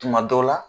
Tuma dɔw la